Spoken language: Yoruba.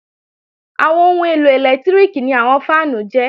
Àwọn ohun èlò ẹlẹ́lẹtíríkì ni àwọn fáànù jẹ́